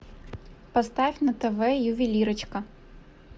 поставь на тв ювелирочка